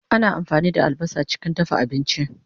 Ana ampani da albasa chikin dafa abinchi